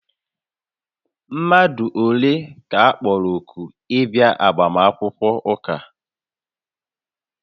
Mmadụ ole ka a kpọrọ òkù ịbịa agbamakwụkwọ ụka?